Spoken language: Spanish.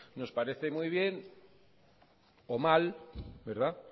nos parece muy bien o mal verdad